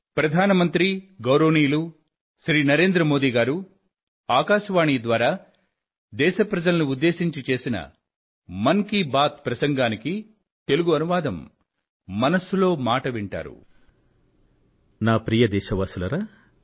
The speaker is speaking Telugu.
ప్రియమైన నా దేశ వాసులారా